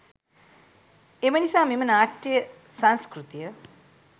එම නිසා මෙම නාට්‍යය සංස්කෘතිය